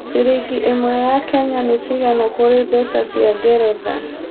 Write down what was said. ciringi ĩmwe ya Kenya ni cĩgana kũrĩ mbeca cia ngeretha